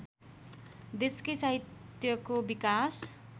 देशकै साहित्यको विकास